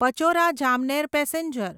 Pachora Jamner passenger